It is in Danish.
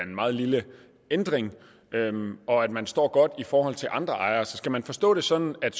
meget lille ændring og at man står godt i forhold til andre så skal man forstå det sådan at